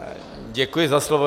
Děkuji za slovo.